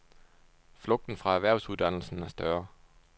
Flugten fra erhvervsuddannelserne er større.